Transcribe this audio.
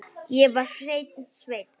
Ég var hreinn sveinn.